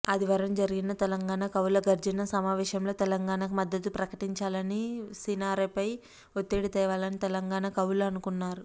ఆదివారం జరిగిన తెలంగాణ కవుల గర్జన సమావేశంలో తెలంగాణకు మద్దతు ప్రకటించాలని సినారెపై ఒత్తిడి తేవాలని తెలంగాణ కవులు అనుకున్నారు